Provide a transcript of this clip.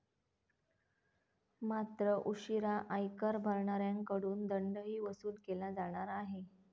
मात्र, उशिरा आयकर भरणाऱ्यांकडून दंडही वसूल केला जाणार आहे.